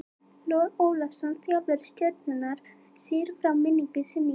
Logi Ólafsson þjálfari Stjörnunnar segir frá minningu sinni í dag.